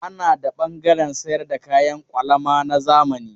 Ana da ɓangaren sayar da kayan kwalama na zamani.